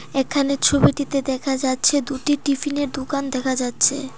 এখানে ছবিটিতে দেখা যাচ্ছে দুটি টিফিনের -এর দুকান দেখা যাচ্ছে।